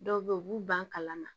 Dɔw bɛ yen u b'u ban kalama